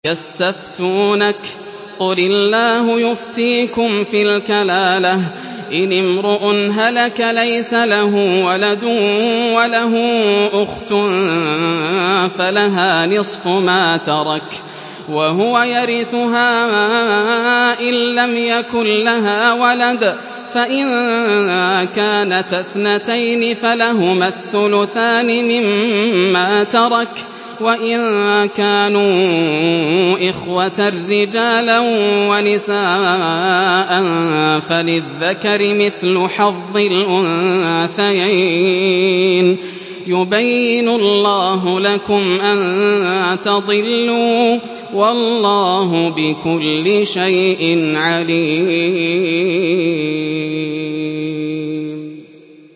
يَسْتَفْتُونَكَ قُلِ اللَّهُ يُفْتِيكُمْ فِي الْكَلَالَةِ ۚ إِنِ امْرُؤٌ هَلَكَ لَيْسَ لَهُ وَلَدٌ وَلَهُ أُخْتٌ فَلَهَا نِصْفُ مَا تَرَكَ ۚ وَهُوَ يَرِثُهَا إِن لَّمْ يَكُن لَّهَا وَلَدٌ ۚ فَإِن كَانَتَا اثْنَتَيْنِ فَلَهُمَا الثُّلُثَانِ مِمَّا تَرَكَ ۚ وَإِن كَانُوا إِخْوَةً رِّجَالًا وَنِسَاءً فَلِلذَّكَرِ مِثْلُ حَظِّ الْأُنثَيَيْنِ ۗ يُبَيِّنُ اللَّهُ لَكُمْ أَن تَضِلُّوا ۗ وَاللَّهُ بِكُلِّ شَيْءٍ عَلِيمٌ